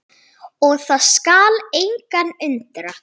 Og það skal engan undra.